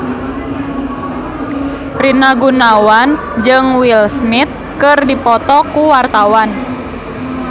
Rina Gunawan jeung Will Smith keur dipoto ku wartawan